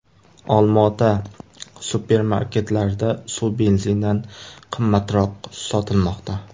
Olmaota supermarketlarida suv benzindan qimmatroq sotilmoqda.